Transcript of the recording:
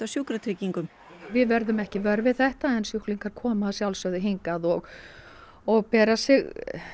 Sjúkratryggingum við verðum ekki vör við þetta en sjúklingar koma að sjálfsögðu hingað og og bera sig